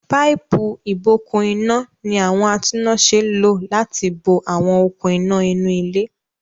Páípù-ìbokùn-iná ní àwọn atúnnáṣẹ́ lò láti bo àwọn okùn-iná inú ilé.